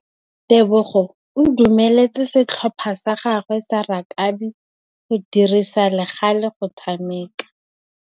Tebogô o dumeletse setlhopha sa gagwe sa rakabi go dirisa le galê go tshameka.